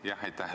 Aitäh!